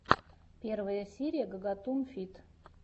первая серия гагатун фид